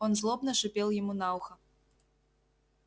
он злобно шипел ему на ухо